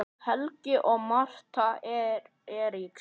Helgi og Martha Eiríks.